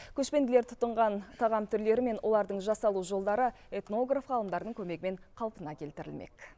көшпенділер тұтынған тағам түрлері мен олардың жасалу жолдары этнограф ғалымдардың көмегімен қалпына келтірілмек